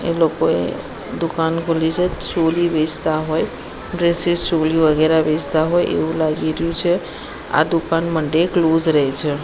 એ લોકોએ દુકાન ખોલી છે ચોલી વેચતા હોય ડ્રેસીસ ચોલી વગેરા વેચતા હોય એવુ લાગી રયુ છે આ દુકાન મંડે ક્લોઝ રેઇ છે.